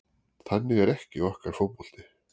Þannig er ekki okkar fótbolti